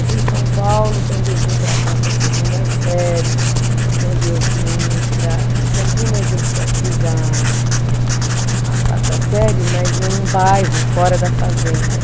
Aqui em São Paulo, quando eu vim para cá para a segunda série, quando eu vim para, em Campinas eu fiz a, a quarta série, mas num bairro fora da fazenda.